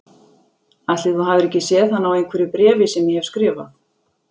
Ætli þú hafir ekki séð hana á einhverju bréfi sem ég hef skrifað